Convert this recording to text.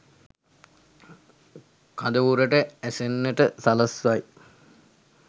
කඳවුරට ඇසෙන්නට සලස්වයි.